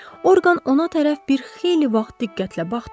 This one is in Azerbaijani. Orqan ona tərəf bir xeyli vaxt diqqətlə baxdı.